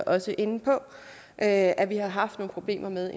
også inde på at at vi har haft nogle problemer med